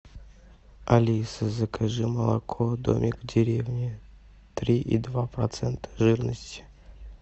алиса закажи молоко домик в деревне три и два процента жирности